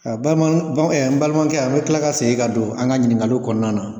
Balima n balimakɛ, an bɛ kila ka segi ka don an ka ɲinikali kɔnɔna na.